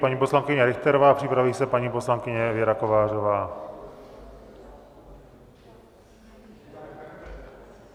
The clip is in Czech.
Paní poslankyně Richterová, připraví se paní poslankyně Věra Kovářová.